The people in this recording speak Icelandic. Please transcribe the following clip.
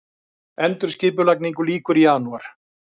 Endurskipulagningu lýkur í janúar